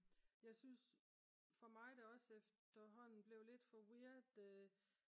jeg synes for mig er det også efterhånden blevet lidt for weird